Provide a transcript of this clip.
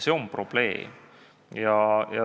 See on probleem.